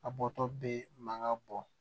A bɔtɔ bɛ mankan bɔ